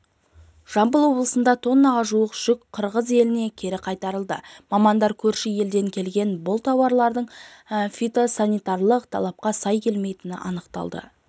жамбыл облысында тоннаға жуық жүк қырғыз еліне кері қайтарылды мамандар көрші елден келген бұл тауарлардың фитосанитарлық талапқа сай келмейтінін анықтады